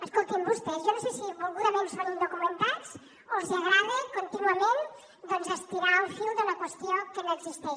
escoltin vostès jo no sé si volgudament són indocumentats o els agrada contínuament doncs estirar el fil d’una qüestió que no existeix